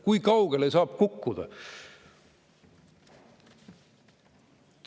Kui kaugele saab kukkuda?